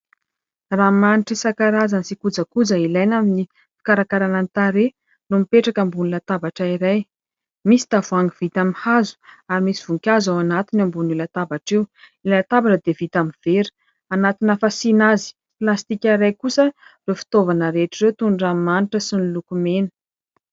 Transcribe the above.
Ranomanitra isankarazany sy kojakoja ilaina amin'ny fikarakaràna ny tarehy no mipetraka ambony latabatra iray. Misy tavoahangy vita amin'ny hazo ary misy voninkazo ao anatiny ambonin'io latabatra io. Ilay latabatra dia vita amin'ny vera. Anatina fasiana azy plastika iray kosa ireo fitaovana rehetra ireo toy ny ranomanitra sy ny lokomena.